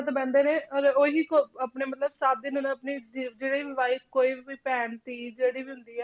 ~ਡਿਤ ਬਹਿੰਦੇ ਨੇ ਅਤੇ ਉਹੀ ਕ~ ਆਪਣੇ ਮਤਲਬ ਸੱਤ ਦਿਨ ਉਹਨੇ ਆਪਣੀ ਜ~ ਜਿਹੜੇ ਵੀ wife ਕੋਈ ਵੀ ਕੋਈ ਭੈਣ ਧੀ ਜਿਹੜੀ ਵੀ ਹੁੰਦੀ ਹੈ।